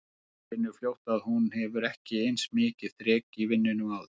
Hún finnur fljótt að hún hefur ekki eins mikið þrek í vinnunni og áður.